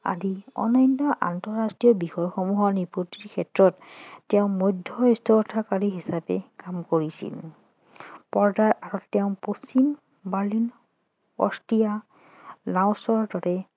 আদি অন্যান্য আন্তৰাষ্ট্ৰীয় বিষয় সমূহৰ নিষ্পতিৰ ক্ষেত্ৰত তেওঁ মধ্যস্থতাকাৰী হিচাপে কাম কৰিছিল পৰ্দাৰ আঁৰত তেওঁ পশ্চিম বাৰ্লিন অষ্ট্ৰিয়া লাওচৰ দৰে